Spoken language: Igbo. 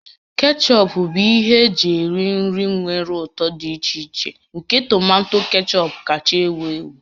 Kechọp bụ ihe eji eri nri nwere ụtọ dị iche iche nke tomato kechọp kacha ewu ewu